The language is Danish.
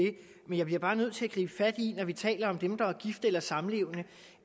det men jeg bliver bare nødt til at gribe fat i når vi taler om dem der er gift eller samlevende